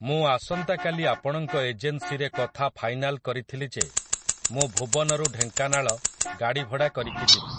ମୁଁ ଆସନ୍ତାକାଲି ଆପଣଙ୍କ ଏଜେନ୍ସିରେ କଥା ଫାଇନାଲ୍ କରିଥିଲି ଯେ ମୁଁ ଭୁବନରୁ ଢେଙ୍କାନାଳ ଗାଡିଭଡ଼ା କରିକି ଯିବି ।